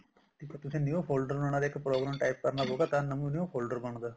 ਇੱਕ ਤੁਸੀਂ new folder ਬਣਾਉਣਾ ਤੇ ਇੱਕ program type ਕਰਨਾ ਤਾਂ new folder ਬਣਦਾ